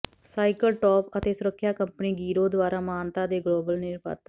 cycle ਟੋਪ ਅਤੇ ਸੁਰੱਖਿਆ ਕੰਪਨੀ ਗੀਰੋ ਦੁਆਰਾ ਮਾਨਤਾ ਦੇ ਗਲੋਬਲ ਨਿਰਮਾਤਾ